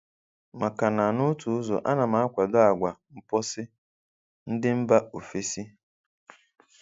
Makana n' otu ụzọ, ana m akwado àgwà mposi ndi mba ofesi